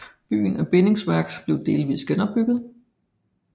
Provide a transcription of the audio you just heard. Byen af bindingsværk blev delvis genopbygget